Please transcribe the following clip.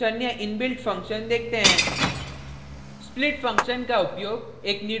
अब अरैज के कुछ अन्य इनबिल्ट फंक्शन देखते हैं